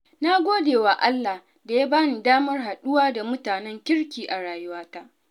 Na gode wa Allah da ya bani damar haɗuwa da mutanen kirki a rayuwata.